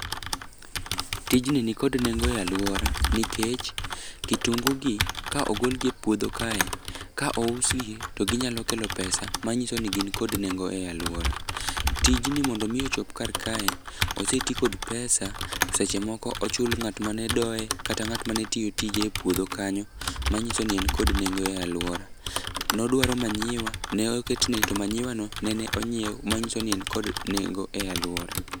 Tijni nikod nengo e alwora nikech kitungu gi ka ogolgi e puodho kae, ka ousgi to ginyalo kelo pesa manyiso ni gin kod nengo e alwora. Tijni mondo omi ochop kar kae, oseti kod pesa, seche moko ochul ng'at mane doye, kata ng'at mane tiyo tije e puodho kanyo. Manyiso ni en kod nengo e alwora. Nodwaro manyiwa, ne oketne to manyiwano nene onyiew, manyidso ni en kod nendo e alwora.